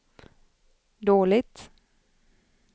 dåligt